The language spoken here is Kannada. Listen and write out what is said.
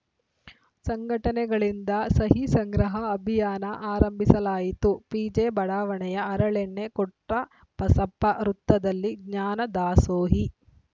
ಸಂಘಟನೆಗಳಿಂದ ಸಹಿ ಸಂಗ್ರಹ ಅಭಿಯಾನ ಆರಂಭಿಸಲಾಯಿತು ಪಿಜೆಬಡಾವಣೆಯ ಹರಳೆಣ್ಣೆ ಕೊಟ್ರಬಸಪ್ಪ ವೃತ್ತದಲ್ಲಿ ಜ್ಞಾನದಾಸೋಹಿ